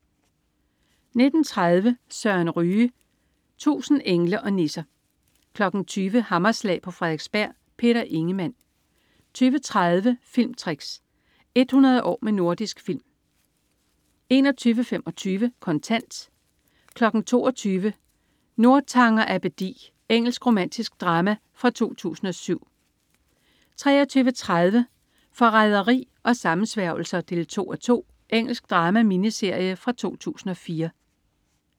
19.30 Søren Ryge. 1000 engle og nisser 20.00 Hammerslag på Frederiksberg. Peter Ingemann 20.30 Filmtricks. 100 år med Nordisk Film 21.25 Kontant 22.00 Northanger Abbedi. Engelsk romantisk drama fra 2007 23.30 Forræderi og sammensværgelser 2:2. Engelsk drama-miniserie fra 2004